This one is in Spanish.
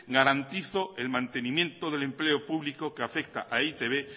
garantizo el mantenimiento del empleo público que afecta a e i te be